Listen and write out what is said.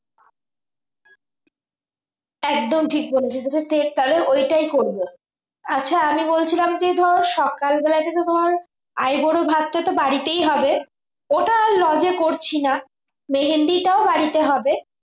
একদম ঠিক বলেছিস যেটা ঠিক তাহলে ওইটাই করবো আচ্ছা আমি বলছিলাম কি ধর সকাল বেলায় যদি ধর আইবুড়ো ভাতটা তো বাড়িতেই হবে ওটা lodge করছি না মেহেন্দিটা ও বাড়িতে হবে